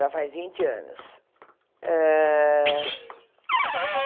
Já faz vinte anos. Ah